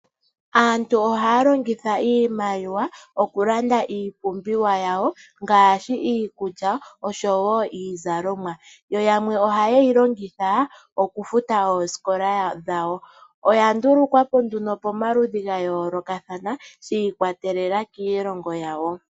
Aantu ohaya longithaa iimaliwa okulanda iipumbiwa yawo ngaashi iikulya oshowo iizalomwa yo yamwe ohaye yi longitha okufuta oosikola dhawo. Oya ndulukwapo pomaludhi ga yoolokathana shiikwatelela kiilongo yawo.